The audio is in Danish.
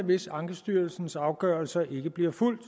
hvis ankestyrelsens afgørelser ikke bliver fulgt